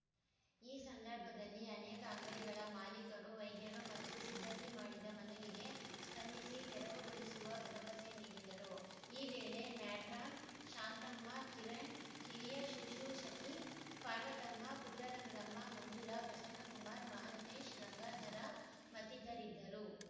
ಈ ಸಂದರ್ಭದಲ್ಲಿ ಅನೇಕ ಅಂಗಡಿಗಳ ಮಾಲೀಕರು ವೈದ್ಯರು ಮತ್ತು ಸಿಬ್ಬಂದಿ ಮಾಡಿದ ಮನವಿಗೆ ಸ್ಪಂದಿಸಿ ತೆರವುಗೊಳಿಸುವ ಭರವಸೆ ನೀಡಿದರು ಈ ವೇಳೆ ಮ್ಯಾಟ್ರಾನ್‌ ಶಾಂತಮ್ಮ ಕಿರಣ್‌ ಹಿರಿಯ ಶುಶ್ರೂಷಕಿ ಪಾರ್ವತಮ್ಮ ಪುಟ್ಟರಂಗಮ್ಮ ಮಂಜುಳಾ ಪ್ರಸನ್ನಕುಮಾರ್‌ ಮಹಂತೇಶ್‌ ಗಂಗಾಧರ ಮತ್ತಿತರರಿದ್ದರು